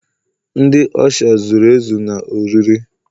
ndi usha $ zuru ezu na oriri?